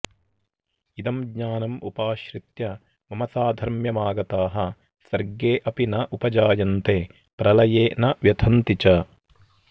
इदं ज्ञानम् उपाश्रित्य मम साधर्म्यम् आगताः सर्गे अपि न उपजायन्ते प्रलये न व्यथन्ति च